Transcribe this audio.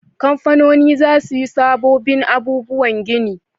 Kamfanoni za su yi sabobbin abubuwan gini